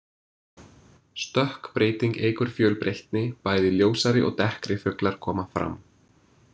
Stökkbreyting eykur fjölbreytni, bæði ljósari og dekkri fuglar koma fram.